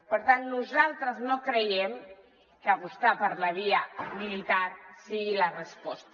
per tant nosaltres no creiem que apostar per la via militar sigui la resposta